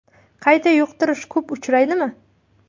Qayta yuqtirish ko‘p uchraydimi?